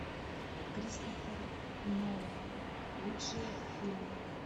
кристофер нолан лучшие фильмы